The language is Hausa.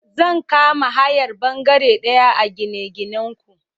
Zan kama hayar bangare daya a gine-ginanku.